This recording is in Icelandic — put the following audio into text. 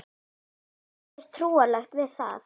Það er ekkert trúarlegt við það.